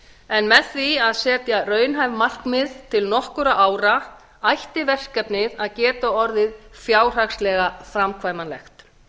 en með því að setja raunhæf markmið til nokkurra ára ætti verkefnið að geta orðið fjárhagslega framkvæmanlegt